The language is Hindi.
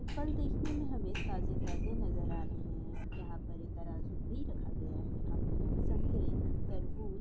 फल देखने में हमे ताजे-ताजे नजर आ रहे है यहां पर एक तराजू भी रखा गया है यहां पर हम संतरे तरबूज--